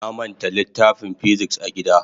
Na manta littafin "physics" a gida.